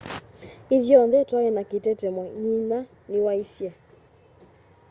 ithyonthe twai na kitetemo nyinya niwaisye